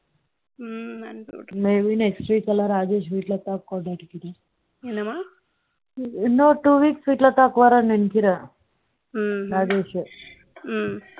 maybe next week Rajesh வீட்ல தான் கொண்டாடிட்டு இருக்கேன். என்னம்மா இன்னும் two weeks வீட்ல தான் போறேன்னு நினைக்கிறேன் ராஜேஷ்